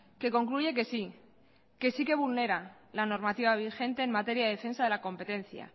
que concluye que sí que sí que vulnera la normativa vigente en materia de defensa de la competencia